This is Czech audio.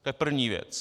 To je první věc.